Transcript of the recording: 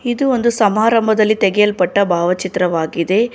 ಇದು ಒಂದು ಸಮಾರಂಭದಲ್ಲಿ ತೆಗೆಯಲ್ಪಟ್ಟ ಭಾವಚಿತ್ರವಾಗಿದೆ.